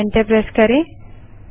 enter press करें